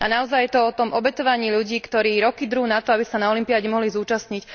A naozaj je to o tom obetovaní ľudí, ktorí roky drú na to, aby sa na olympiáde mohli zúčastniť.